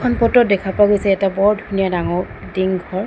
এইখন ফটো ত দেখা পোৱা গৈছে এটা বৰ ধুনীয়া ডাঙৰ ডিং ঘৰ।